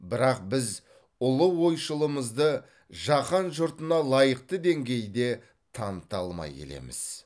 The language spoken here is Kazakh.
бірақ біз ұлы ойшылымызды жаһан жұртына лайықты деңгейде таныта алмай келеміз